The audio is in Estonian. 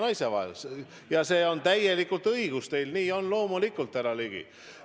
Ja see on täiesti õigus, nii on loomulikult, härra Ligi.